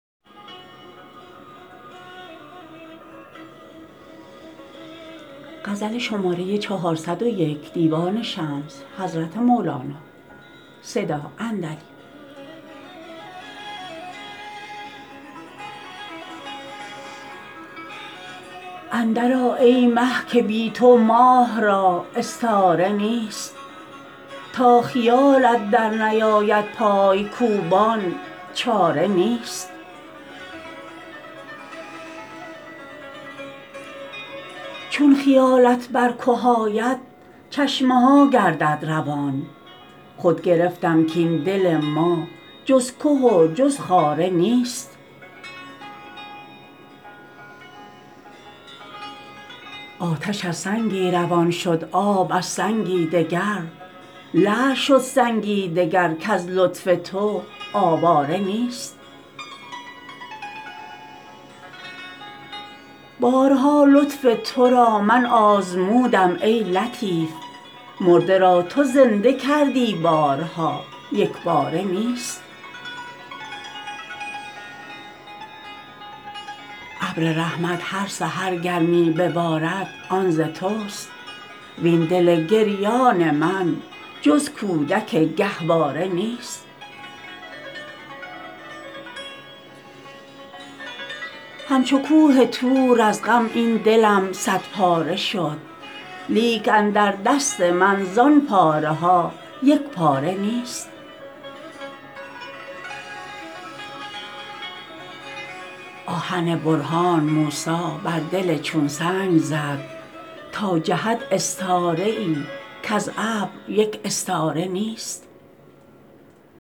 اندرآ ای مه که بی تو ماه را استاره نیست تا خیالت درنیاید پای کوبان چاره نیست چون خیالت بر که آید چشمه ها گردد روان خود گرفتم کاین دل ما جز که و جز خاره نیست آتش از سنگی روان شد آب از سنگی دگر لعل شد سنگی دگر کز لطف تو آواره نیست بارها لطف تو را من آزمودم ای لطیف مرده را تو زنده کردی بارها یک باره نیست ابر رحمت هر سحر گر می ببارد آن ز تست وین دل گریان من جز کودک گهواره نیست همچو کوه طور از غم این دلم صدپاره شد لیک اندر دست من زان پاره ها یک پاره نیست آهن برهان موسی بر دل چون سنگ زد تا جهد استاره ای کز ابر یک استاره نیست